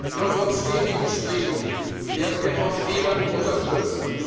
Einheit. In unserem stetigen Streben werden wir von vielen unterstützt.